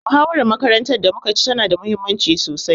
Muhawarar makarantar da muka ci tana da muhimmanci sosai.